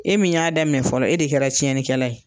E min y'a dɛmɛ fɔlɔ e de kɛra cɛnikɛla ye